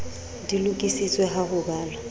di lokisitswe ha ho balwa